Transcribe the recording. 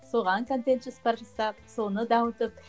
соған контент жоспар жасап соны дамытып